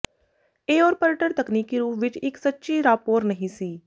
ਈਓਰੱਪਰਟਰ ਤਕਨੀਕੀ ਰੂਪ ਵਿਚ ਇਕ ਸੱਚੀ ਰਾਪੌਰ ਨਹੀਂ ਸੀ